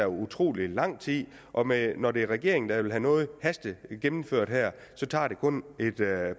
utrolig lang tid og når det er regeringen der vil have noget hastegennemført så tager det kun et